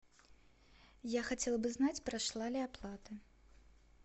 я хотела бы знать прошла ли оплата